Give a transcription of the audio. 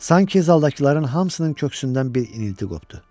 Sanki zaldakıların hamısının köksündən bir inilti qopdu.